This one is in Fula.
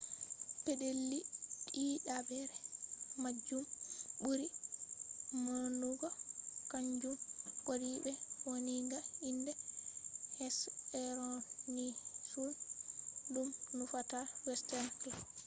pedeli didabre majum buri maunugo kanjum wadi be wanniga inde hesperonychus dum nufata western claw